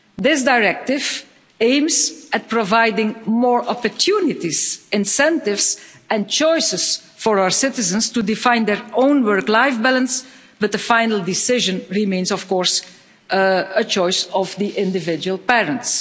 This directive aims at providing more opportunities, incentives and choices for our citizens to define their own work-life balance, but the final decision remains a choice of the individual parents.